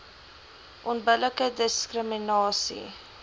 onbillike diskrimina sie